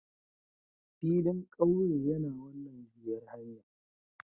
Filin ƙauye yana wannan juyar hanyar